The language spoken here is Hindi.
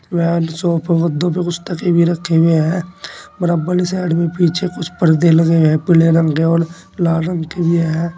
सोफों गद्दों पे कुछ तकिए भी रखे हुए हैं बराबर की साइड में कुछ पर्दे लगे हुए हैं पीले रंग के और लाल रंग के भी हैं।